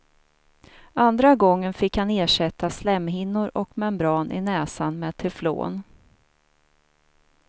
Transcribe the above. Andra gången fick han ersätta slemhinnor och membran i näsan med teflon.